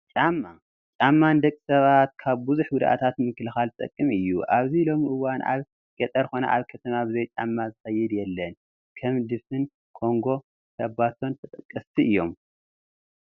ጫማ፡- ጫማ ንደቂ ሰባት ካብ ብዙሕ ጉድኣታት ንምክልኻል ዝጠቅም እዩ፡፡ ኣብዚ ሎሚ እዋን ኣብ ገጠር ኮነ ኣብ ከተማ ብዘይጫማ ዝኸይድ የለን፡፡ ከም ድፉን ኮንጎን ሸባቶን ተጠቀስቲ እዮም፡፡